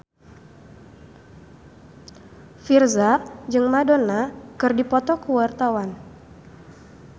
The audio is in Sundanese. Virzha jeung Madonna keur dipoto ku wartawan